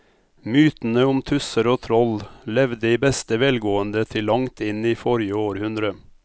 Mytene om tusser og troll levde i beste velgående til langt inn i forrige århundre.